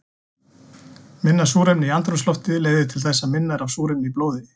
Minna súrefni í andrúmslofti leiðir til þess að minna er af súrefni í blóði.